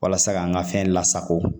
Walasa k'an ka fɛn lasago